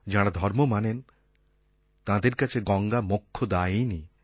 যাঁরা ধর্ম মানেন তাঁদের কাছে গঙ্গা মোক্ষদায়িনী